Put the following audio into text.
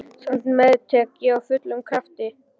Samt meðtek ég af fullum krafti.